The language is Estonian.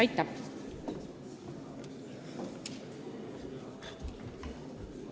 Aitäh!